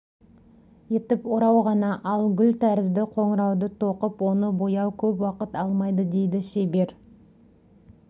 етіп орау ғана ал гүл тәрізді қоңырауды тоқып оны бояу көп уақыт алмайды дейді шебер